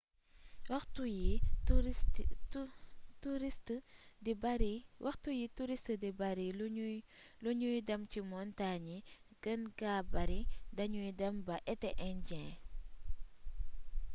waxtu yi touriste di bari lu ñuy dem ci montagne yi gën gaa bari dañuy dem ba été indien